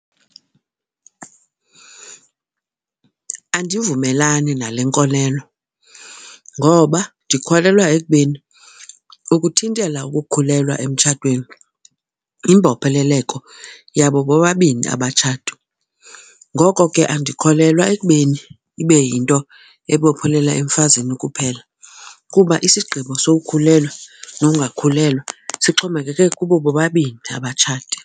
Andivumelani nale nkolelo ngoba ndikholelwa ekubeni ukuthintela ukukhulelwa emtshatweni yimbopheleleko yabo bobabini abatshati. Ngoko ke andikholelwa ekubeni ibe yinto ebophelela emfazini kuphela kuba isigqibo sokukhulelwa nokungakhulelwa sixhomekeke kubo bobabini abatshati.